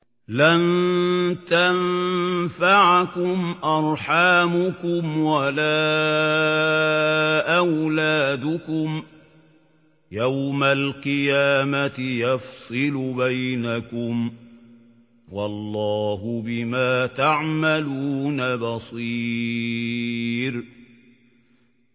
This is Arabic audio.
لَن تَنفَعَكُمْ أَرْحَامُكُمْ وَلَا أَوْلَادُكُمْ ۚ يَوْمَ الْقِيَامَةِ يَفْصِلُ بَيْنَكُمْ ۚ وَاللَّهُ بِمَا تَعْمَلُونَ بَصِيرٌ